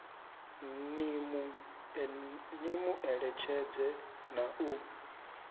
ni mu eletshedze na u